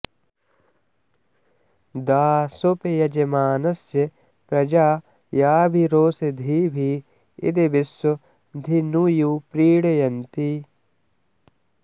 दाशुप यजमानस्य प्रजा याभिरोषधीभि इद विश्व धिनुयु प्रीणयन्ति